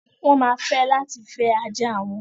Wọ́n ma fẹ́ láti fẹ́ ajá wọn.